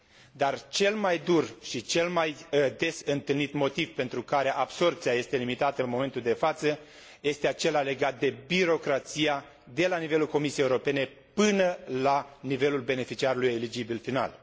Dar cel mai dur și cel mai des întâlnit motiv pentru care absorbția este limitată în momentul de față este acela legat de birocrație, de la nivelul Comisiei Europene, până la nivelul beneficiarului eligibil final.